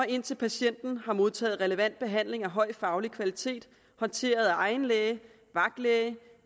indtil patienten har modtaget relevant behandling af høj faglig kvalitet håndteret af egen læge eller vagtlæge